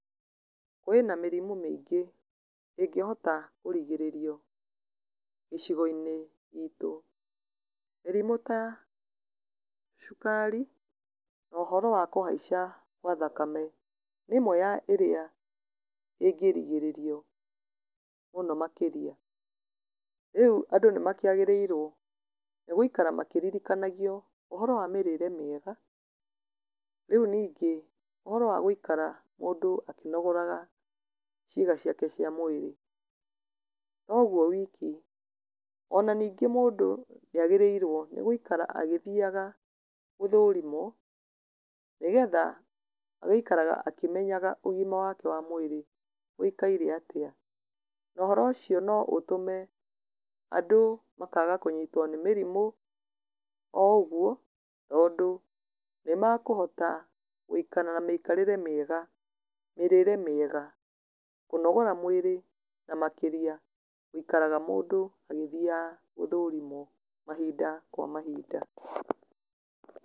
Kwĩna mĩrimũ mĩingĩ ĩngĩhota kũrigĩrĩrio gĩcigo-inĩ gitũ. Mĩrimũ ta cukari na ũhoro wa kũhaica gwa thakame nĩ ĩmwe ya ĩrĩa ĩngĩgirĩrĩrio mũno makĩria. Rĩu andũ nĩ makĩagĩrĩirwo gũikara makĩririkanagio ũhoro wa mĩrĩĩre mĩega. Rĩu ningĩ ũhoro wa gũikara mũndũ akĩnogoraga ciĩga ciake cia mwĩrĩ. To ũguo wiki, ona ningĩ mũndũ nĩ agĩrĩirwo nĩ gũikara agĩthiaga gũthũrimwo, nĩgetha agaikaraga akĩmenyaga ũgima wake wa mwĩrĩ ũikaire atĩa. Na ũhoro ũcio no ũtũme andũ makaaga kũnyitwo nĩ mĩrimũ o ũguo tondũ nĩ makũhota gũikara na mĩikarĩre mĩega, mĩrĩĩre mĩega, kũnogora mwĩrĩ na makĩria gũikaraga mũndũ agĩthiaga gũthũrimwo mahinda kwa mahinda.